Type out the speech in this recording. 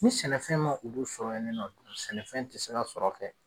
Ni sɛnɛfɛn ma olu sɔrɔ yen ni nɔ sɛnɛfɛn tɛ se ka sɔrɔ kɛ